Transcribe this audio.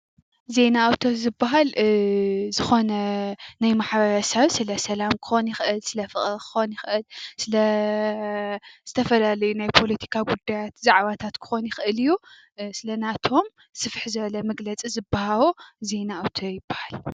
ዜና ኣውታር ዝባሃል ዝኾነ ናይ ማሕበረሰብ ስለሰላም ክኾን ይኽእል ፣ ስለፍቕሪ ክኾን ይኽእል፣ ስለ ዝተፈላለዩ ናይ ፖለቲካ ጉዳያት ዛዕባታት ክኾን ይኽእል እዩ፡፡ ስለናቶም ስፍሕ ዝበለ መግለፂ ዝባሃዎ ዜና ኣውታር ይባሃል።